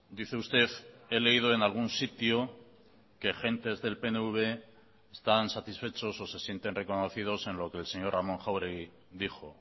dice usted he leído en algún sitio que gentes del pnv están satisfechos o se sienten reconocidos en lo que el señor ramón jáuregui dijo